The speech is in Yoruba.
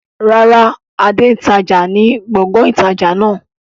Rárá, Adé n tája ni gbọ̀ngàn ìtajà náà